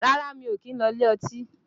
Rárá mi ò kìí ń lọ sí ilé ọtí